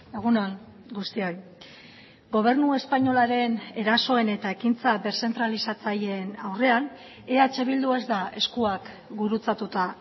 egun on guztioi gobernu espainolaren erasoen eta ekintza deszentralizatzaileen aurrean eh bildu ez da eskuak gurutzatuta